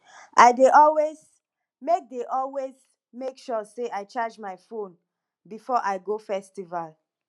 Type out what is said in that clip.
i dey always make dey always make sure sey i charge my phone before i go festival